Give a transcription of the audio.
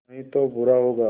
नहीं तो बुरा होगा